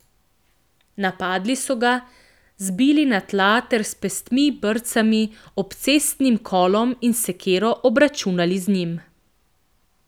Napadli so ga, zbili na tla ter s pestmi, brcami, obcestnim kolom in sekiro obračunali z njim.